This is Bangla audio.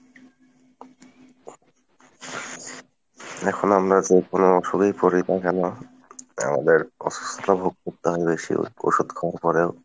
এখন আমরা যেকোনো অসুখেই পরি না কেন আমাদের অসুস্থতা ভোগ করতে হয় বেশি ওষুধ খাওয়ার পরেও।